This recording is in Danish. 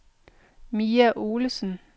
Mia Olesen